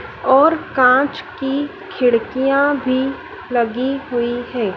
और कांच की खिड़कियां भी लगी हुई है।